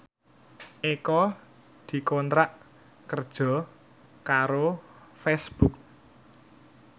Eko dikontrak kerja karo Facebook